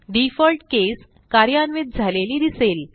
default case कार्यान्वित झालेली दिसेल